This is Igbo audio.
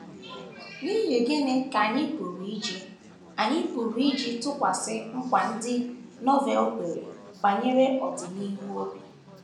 N’ihi gịnị ka anyị pụrụ iji anyị pụrụ iji tụkwasị nkwa ndị Novel kwere banyere ọdịnihu obi?